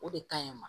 O de ka ɲi ma